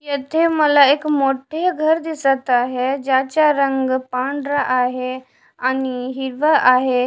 येथे मला एक मोठे घर दिसत आहे ज्याच्या रंग पांढरा आहे आणि हिरवा आहे.